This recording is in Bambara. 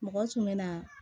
Mɔgɔ tun bɛ na